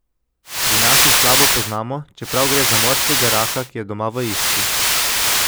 Pri nas jih slabo poznamo, čeprav gre za morskega raka, ki je doma v Istri.